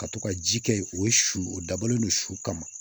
Ka to ka ji kɛ yen o su o dabɔlen do su kama